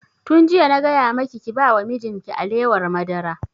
Tun jiya na gaya maki ki ba wa mijin ki alewar madara!